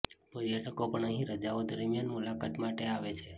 પર્યટકો પણ અહીં રજાઓ દરમ્યાન મુલાકાત માટે આવે છે